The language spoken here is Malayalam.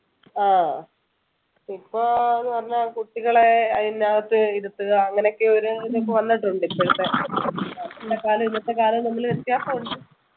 ആഹ് ഇപ്പോന്ന് പറഞ്ഞാൽ കുട്ടികളെ അതിൻ്റെ അകത്ത് ഇരുത്തുക അങ്ങനെയൊക്കെ ഒരു ഇതിപ്പോ വന്നിട്ടുണ്ട് ഇപ്പോഴത്തെ അന്നത്തെ കാലവും ഇന്നത്തെ കാലവും തമ്മില് വ്യത്യാസമുണ്ട്